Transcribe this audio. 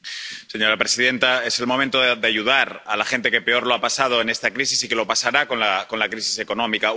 Señora presidenta, es el momento de ayudar a la gente que peor lo ha pasado en esta crisis y que peor lo pasará con la crisis económica.